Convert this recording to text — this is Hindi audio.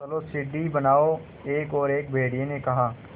चलो सीढ़ी बनाओ एक और भेड़िए ने कहा